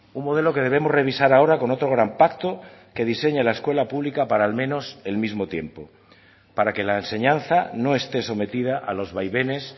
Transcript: un modelo que debemos revisar ahora con otro gran pacto que diseñe la escuela pública para al menos el mismo tiempo para que la enseñanza no esté sometida a los vaivenes